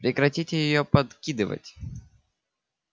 прекратите её подкидывать